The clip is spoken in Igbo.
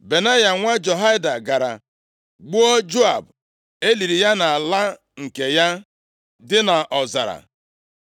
Benaya nwa Jehoiada gara gbuo Joab. E liri ya nʼala nke ya + 2:34 Nʼoge ochie, nʼihi na-enweghị ebe ili ozu nke ozuzu ọha, a na-eli onye ọbụla nʼala nke aka ya. dị nʼọzara.